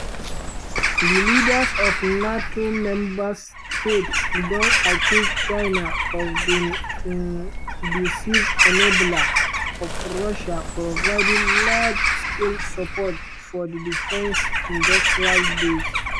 di leaders of nato members states don accuse china of being um “decisive enabler” of russia providing “large-scale support for di defence industrial base”.